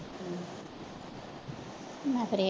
ਮੈਂ ਫਿਰ